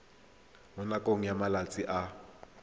mo nakong ya malatsi a